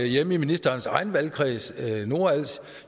hjemme i ministerens egen valgkreds nordals